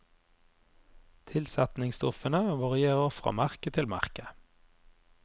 Tilsetningsstoffene varierer fra merke til merke.